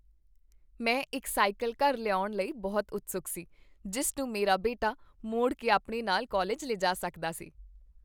ਮੈਂ ਇੱਕ ਸਾਈਕਲ ਘਰ ਲਿਆਉਣ ਲਈ ਬਹੁਤ ਉਤਸੁਕ ਸੀ ਜਿਸ ਨੂੰ ਮੇਰਾ ਬੇਟਾ ਮੋੜ ਕੇ ਆਪਣੇ ਨਾਲ ਕਾਲਜ ਲੈ ਜਾ ਸਕਦਾ ਸੀ।